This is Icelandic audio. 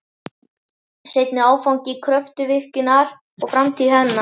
Seinni áfangi Kröfluvirkjunar og framtíð hennar